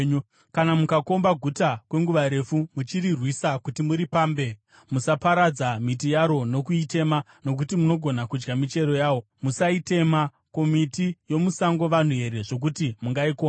Kana mukakomba guta kwenguva refu, muchirirwisa kuti muripambe, musaparadza miti yaro nokuitema nokuti munogona kudya michero yayo. Musaitema. Ko, miti yomusango vanhu here, zvokuti mungaikomba?